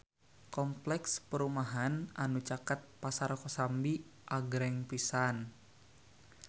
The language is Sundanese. Kompleks perumahan anu caket Pasar Kosambi agreng pisan